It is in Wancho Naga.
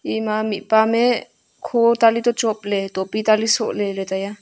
ema mihpa ame kho taley to chopley taley soh leley taiya.